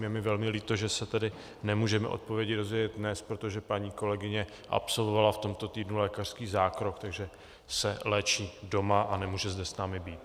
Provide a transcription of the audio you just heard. Je mi velmi líto, že se tedy nemůžeme odpovědi dozvědět dnes, protože paní kolegyně absolvovala v tomto týdnu lékařský zákrok, takže se léčí doma a nemůže zde s námi být.